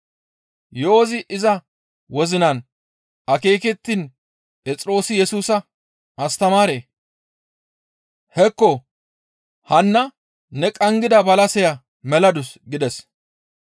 Yo7ozi iza wozinan akeekettiin Phexroosi Yesusa, «Astamaaree! Hekko, hanna ne qanggida balaseya meladus» gides.